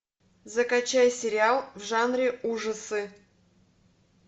закачай сериал в жанре ужасы